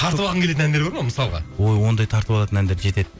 тартып алғың келетін әндер бар ма мысалға ой ондай тартып алатын әндер жетеді